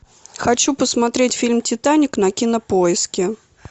хочу посмотреть фильм титаник на кинопоиске